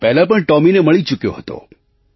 હું પહેલાં પણ ટૉમીને મળી ચૂક્યો હતો